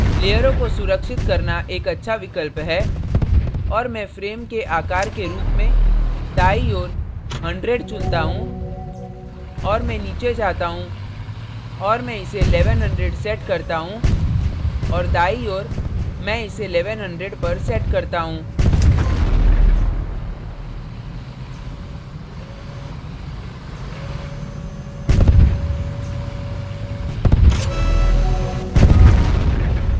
लेयरों को सुरक्षित करना एक अच्छा विकल्प है और मैं frame के आकार के रूप में दायीं ओर 100 चुनता हूँ और मैं नीचे जाता हूँ और मैं इसे 1100 set करता हूँ और दायीं ओर मैं इसे 1100 पर set करता हूँ